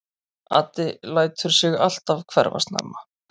Addi lætur sig alltaf hverfa snemma.